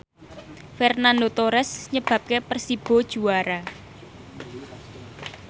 Fernando Torres nyebabke Persibo juara